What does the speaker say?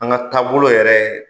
An ka taabolo yɛrɛ